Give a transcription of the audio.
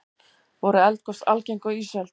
voru eldgos algeng á ísöld